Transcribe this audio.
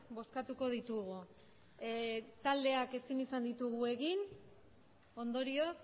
boskatuko ditugu e taldeak esin izan ditugu egin ondorioz